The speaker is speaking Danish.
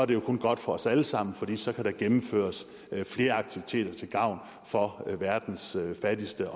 det jo kun godt for os alle sammen fordi der så kan gennemføres flere aktiviteter til gavn for verdens fattigste